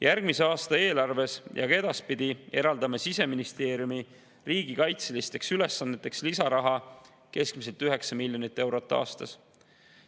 Järgmise aasta eelarves ja ka edaspidi eraldame Siseministeeriumi riigikaitseülesanneteks lisaraha keskmiselt 9 miljonit eurot aastas.